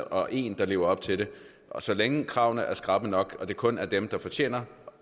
og en der lever op til det så længe kravene er skrappe nok og det kun er dem der fortjener